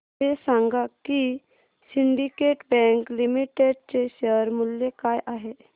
हे सांगा की सिंडीकेट बँक लिमिटेड चे शेअर मूल्य काय आहे